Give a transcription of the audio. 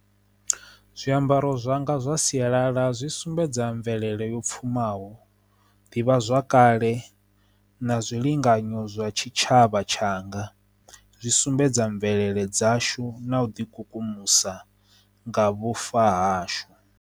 Zwiambaro zwanga zwa sialala zwi sumbedza mvelele yo pfuma naho ḓivha zwakale na zwilinganyo zwa tshitshavha tshanga zwi sumbedza mvelele dzashu na u ḓi kukumusa nga vhufa ha hashu.